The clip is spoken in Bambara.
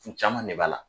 Caman de b'a la